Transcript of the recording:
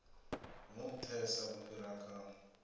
hu nthesa u fhira kha